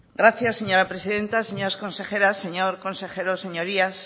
gracias señora presidenta señoras consejeras señor consejero señorías